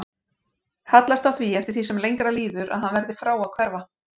Hallast að því eftir því sem lengra líður að hann verði frá að hverfa.